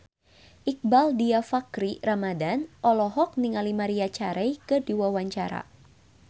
Iqbaal Dhiafakhri Ramadhan olohok ningali Maria Carey keur diwawancara